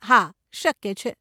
હા, શક્ય છે.